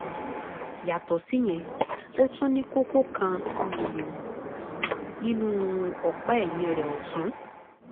yàtọ̀ síyẹn ó tún ní kókó um kan um nínú ọ̀pá um ẹ̀yìn rẹ̀ ọ̀tún